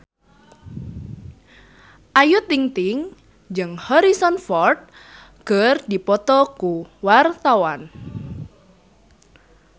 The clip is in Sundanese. Ayu Ting-ting jeung Harrison Ford keur dipoto ku wartawan